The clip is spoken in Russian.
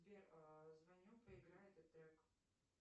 сбер звоню проиграй этот трек